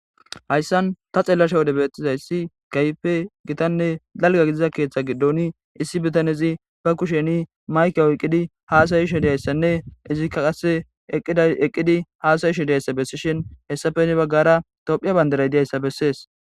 hayssan ta xeellasha wode beettizayssi keehipe gitanne dalga gidiza keeththa giddon issi bitanezi ba kusheni mayke oyqqidi haasa'ishe diyayssanne izikka qasse eqqidi haasa'ishe diyayssa bessishin heyssape hini baggara tophiya bandaray diyayssa bessees.